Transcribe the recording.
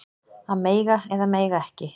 Að mega eða mega ekki